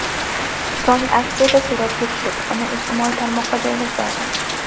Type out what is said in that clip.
So‘ng aksiyada suratga tushib, uni ijtimoiy tarmoqqa joylash lozim.